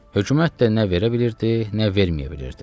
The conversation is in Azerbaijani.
Hökumət də nə verə bilirdi, nə verməyə bilirdi.